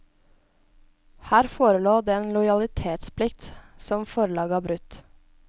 Her forelå det en lojalitetsplikt som forlaget har brutt.